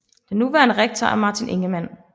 Den nuværende rektor er Martin Ingemann